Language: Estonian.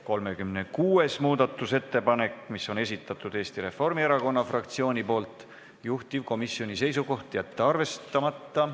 36. muudatusettepaneku on esitanud Eesti Reformierakonna fraktsioon, juhtivkomisjoni seisukoht: jätta see arvestamata.